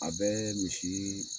A bɛ misi